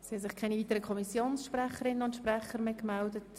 Es haben sich keine weiteren Fraktionssprecherinnen und -sprecher gemeldet.